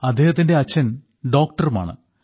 അദ്ദേഹത്തിന്റെ അച്ഛൻ ഡോക്ടറുമാണ്